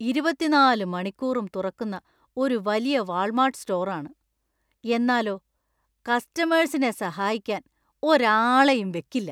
ഇരുപത്തിനാല് മണിക്കൂറും തുറക്കുന്ന ഒരു വലിയ വാൾമാർട്ട് സ്റ്റോർ ആണ്; എന്നാലോ, കസ്റ്റമേഴ്‌സിനെ സഹായിക്കാൻ ഒരാളെയും വെക്കില്ല.